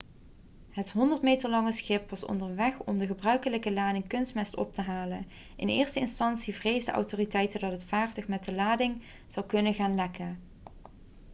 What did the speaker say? het 100 meter lange schip was onderweg om de gebruikelijke lading kunstmest op te halen in eerste instantie vreesden autoriteiten dat het vaartuig met de lading zou kunnen gaan lekken